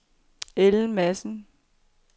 Ellen Madsen